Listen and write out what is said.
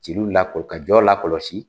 Je bɛ celu labɔ ka jɔ lakɔlɔsi.